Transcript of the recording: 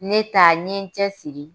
Ne ta n ye n cɛsiri